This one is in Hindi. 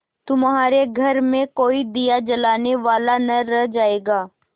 तुम्हारे घर में कोई दिया जलाने वाला न रह जायगा